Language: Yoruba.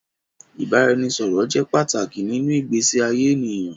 Ìbáraẹnisọ̀rọ̀ jẹ́ pàtàkì nínú ìgbésí ayé ènìyàn.